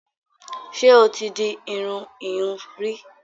Ṣé o ti di irun ìhun rí?